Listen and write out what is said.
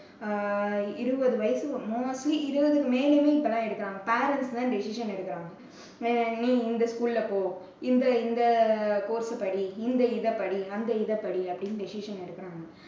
அஹ் இருவது வயசு mostly இருவது மேல தான் எடுக்குறாங்க parents தான் decision எடுக்குறாங்க. நீ இந்த school ல போ. இந்த இந்த course ச படி, இந்த இதை படி. அந்த இதை படி அப்படின்னு decision எடுக்குறாங்க.